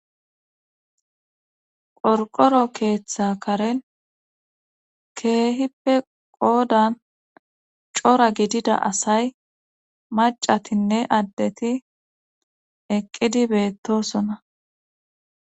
qorqoro keeththa karen keehippe qoodan cora gidida asay macatinne addeti eqqidi beettosona